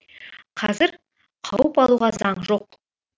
қазір қауып алуға заң жоқ